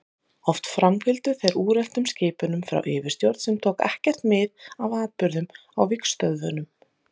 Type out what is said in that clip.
Oft framfylgdu þeir úreltum skipunum frá yfirstjórn sem tók ekkert mið af atburðum á vígstöðvunum.